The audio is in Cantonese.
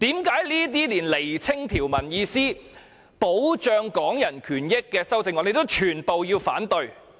為何這些旨在釐清條文意思，保障港人權益的修正案也全部要反對？